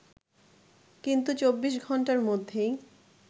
কিন্তু ২৪ ঘন্টার মধ্যেই